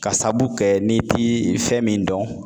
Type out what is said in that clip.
K'a saabu kɛ n'i ti fɛn min dɔn